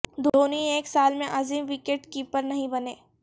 دھونی ایک سال میں عظیم وکٹ کیپر نہیں بنے